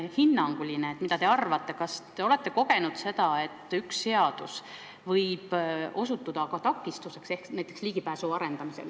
Ja teiseks, kas te olete kogenud seda, et üks seadus võib osutuda ka takistuseks sellise ligipääsu loomisel?